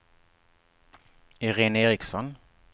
Irene Eriksson